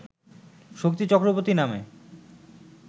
শক্তি চক্রবর্তী নামে